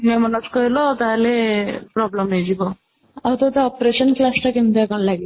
ଅନ୍ୟ ମନସ୍କ ହେଲ ତାହାଲେ problem ହେଇଯିବ ଆଉ ତୋତେ operation class ଟା କେମିତି କ'ଣ ଲାଗେ?